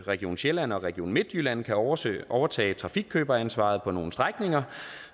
region sjælland og region midtjylland kan overtage overtage trafikkøberansvaret på nogle strækninger